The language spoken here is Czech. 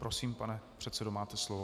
Prosím, pane předsedo, máte slovo.